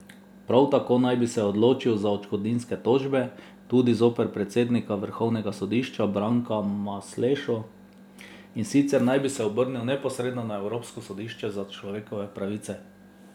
Prav tako naj bi se odločil za odškodninske tožbe, tudi zoper predsednika vrhovnega sodišča Branka Maslešo, in sicer naj bi se obrnil neposredno na Evropsko sodišče za človekove pravice.